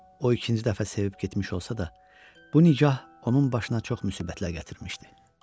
O ikinci dəfə sevib getmiş olsa da, bu nikah onun başına çox müsibətlər gətirmişdi.